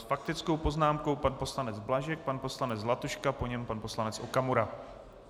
S faktickou poznámkou pan poslanec Blažek, pan poslanec Zlatuška, po něm pan poslanec Okamura.